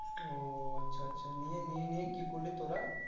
ওহ আচ্ছা আচ্ছা নিয়ে নিয়ে নিয়ে কি করলি তোরা?